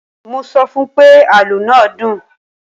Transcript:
Mo sọ fún pé, àlọ́ náà dùn.